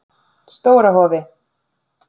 Stóra Hofi